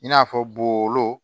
I n'a fɔ bolon